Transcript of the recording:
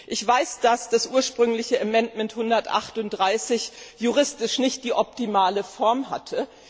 Ich weiß, dass der ursprüngliche Änderungsantrag 138 juristisch nicht die optimale Form hatte.